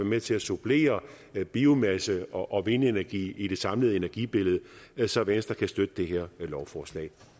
med til at supplere biomasse og vindenergi i det samlede energibillede så venstre kan støtte det her lovforslag